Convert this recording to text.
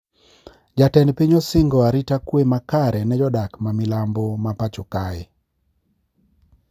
Jatend piny osingo arita kwe makare ne jodak ma milambo ma pacho kae